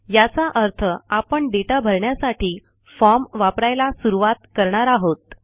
याचा अर्थ आपण दाता भरण्यासाठी फॉर्म वापरायला सुरूवात करणार आहोत